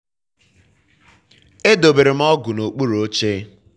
edobere m ọgụ n'okpuru oche.